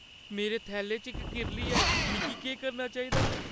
मेरे थैले च इक किरली ऐ। मिगी केह् करना चाहिदा?